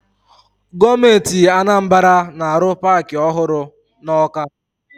Gọọmenti Anambara na-arụ paakị ọhụrụ na Ọka.